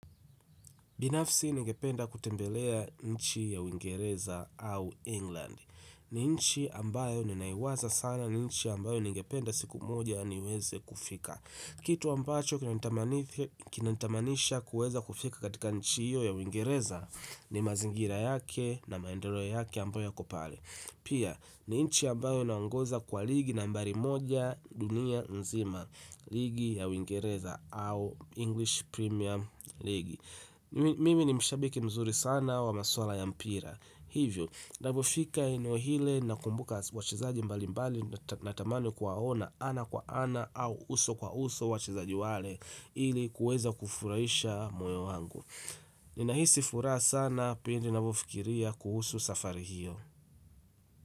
Binafsi ningependa kutembelea nchi ya Uingereza au England. Ni nchi ambayo ninaiwaza sana ni nchi ambayo ningependa siku moja niweze kufika. Kitu ambacho kinanitamanisha kuweza kufika katika nchi hiyo ya Uingereza ni mazingira yake na maendeleo yake ambayo yako pale. Pia ni nchi ambayo inaongoza kwa ligi nambari moja dunia nzima ligi ya Uingereza au English Premier League. Mimi ni mshabiki mzuri sana wa masuala ya mpira hivyo, napofika eneo ile nakumbuka wachezaji mbali mbali nathamani kuwaona ana kwa ana au uso kwa uso wachezaji wale ili kuweza kufurahisha moyo wangu ninahisi furaha sana pindi napofikiria kuhusu safari hiyo.